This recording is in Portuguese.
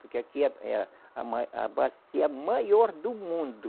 Porque aqui é é a, a ma, a bacia maior do mundo.